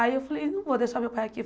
Aí eu falei, não vou deixar meu pai aqui.